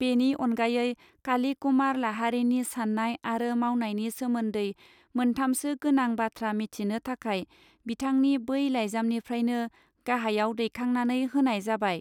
बेनि अनगायै काली कुमार लाहारीनि साननाय आरो मावनायनि सोमोन्दै मोनथामसो गोनां बाथ्रा मिथिनो थाखाय बिथांनि बै लाइजामनिफ्रायनो गाहायाव दैखांनानै होनाय जाबाय.